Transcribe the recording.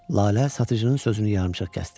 Lalə satıcının sözünü yarımçıq kəsdi.